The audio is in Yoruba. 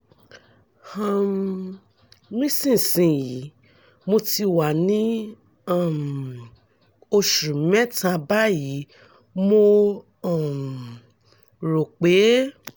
um nísinsìnyí mo ti wà ní um oṣù mẹ́ta báyìí mo um rò pé